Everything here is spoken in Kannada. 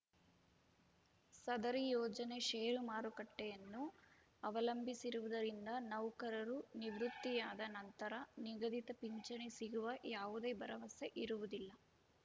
ಸದರಿ ಯೋಜನೆ ಷೇರು ಮಾರುಕಟ್ಟೆಯನ್ನು ಅವಲಂಬಿಸಿರುವುದರಿಂದ ನೌಕರರು ನಿವೃತ್ತಿಯಾದ ನಂತರ ನಿಗದಿತ ಪಿಂಚಣಿ ಸಿಗುವ ಯಾವುದೆ ಭರವಸೆ ಇರುವುದಿಲ್ಲ